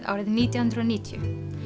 árið nítján hundruð og níutíu